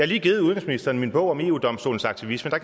lige givet udenrigsministeren min bog om eu domstolens aktivisme og